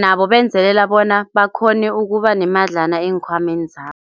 Nabo benzelela bona bakhone ukubanemadlana eenkhwameni zabo.